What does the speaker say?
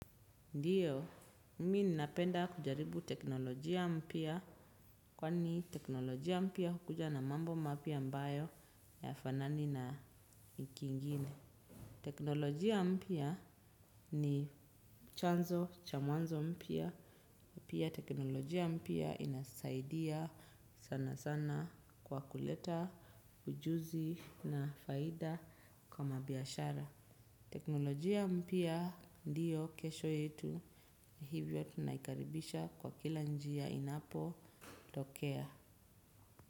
Ndiyo, mimi ninapenda kujaribu teknolojia mpya, kwani teknolojia mpya hukuja na mambo mapya ambayo hqyafanani na kingine. Teknolojia mpya ni chanzo cha mwanzo mpya. Pia teknolojia mpya inasaidia sana sana kwa kuleta ujuzi na faida kwa mabiashara. Teknolojia mpia ndiyo kesho yetu hivyo tunaikaribisha kwa kila njia inapotokea.